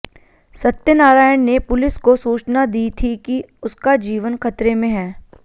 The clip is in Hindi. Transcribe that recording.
सत्यनारायण ने पुलिस को सूचना दी थी कि उसका जीवन खतरे में है